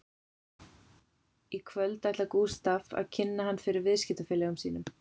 Í kvöld ætlar Gústaf að kynna hann fyrir viðskiptafélögum sínum